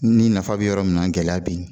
Ni nafa bɛ yɔrɔ min na gɛlɛya bɛ yen